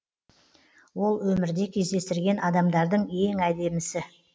ол өмірде кездестірген адамдардың ең әдемісі